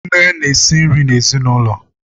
Nne na-esi nri n'ezinụlọ.